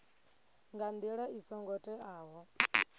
nga ndila i songo teaho